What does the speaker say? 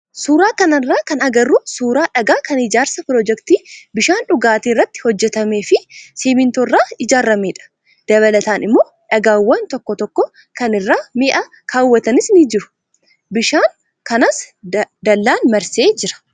Suuraa kanarraa kan agarru suuraa dhagaa kan ijaarsa piroojeektii bishaan dhugaatii irratti hojjatamee fi simmintoo irraa ijaaramedha. Dabalataan immoo dhagaawwan tokko tokko kan irra mi'a kaawwatanis ni jiru. Bishaan kanas dallaan marsee jira.